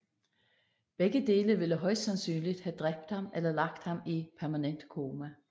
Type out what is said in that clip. Begge dele ville højst sandsynlig have dræbt ham eller lagt ham i permanent koma